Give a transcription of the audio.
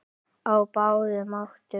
Á báðum áttum.